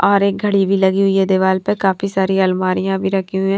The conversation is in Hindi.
और एक घड़ी भी लगी हुई है दीवाल पे काफी सारी अलमारियां भी रखी हुई है।